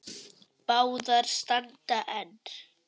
Báðar standa enn.